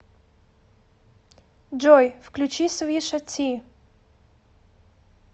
джой включи свиша ти